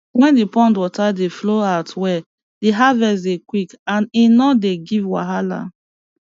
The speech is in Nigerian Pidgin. wen d pond water dey flow out well d harvest dey quick and e no dey give wahala